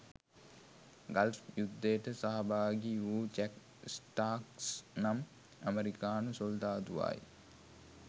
Gulf යුද්ධයට සහභාගී වූ ජැක් ස්ටාක්ස් නම් ඇමරිකානු සොල්දාදුවායි.